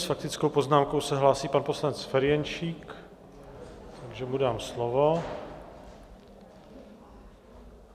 S faktickou poznámkou se hlásí pan poslanec Ferjenčík, takže mu dám slovo.